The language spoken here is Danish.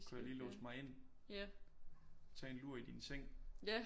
Kunne jeg lige låse mig ind tage en lur i din seng